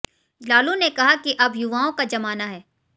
लालू ने कहा कि अब युवाओं का जमाना है